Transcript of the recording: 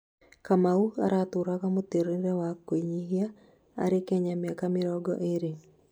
Kamau aratũraga mũtũrire wa kwĩnyihia arĩ Kenya mĩaka mĩrongo ĩrĩ